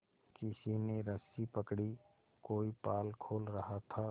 किसी ने रस्सी पकड़ी कोई पाल खोल रहा था